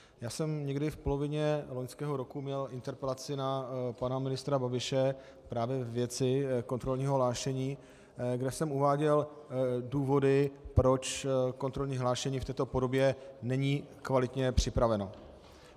Já jsem někdy v polovině loňského roku měl interpelaci na pana ministra Babiše právě ve věci kontrolního hlášení, kde jsem uváděl důvody, proč kontrolní hlášení v této podobě není kvalitně připraveno.